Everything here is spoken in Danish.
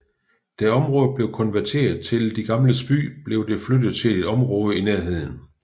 Da området blev konverteret til De Gamles By blev det flyttet til et område i nærheden